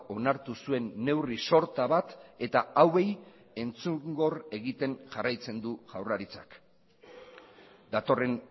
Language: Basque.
onartu zuen neurri sorta bat eta hauei entzungor egiten jarraitzen du jaurlaritzak datorren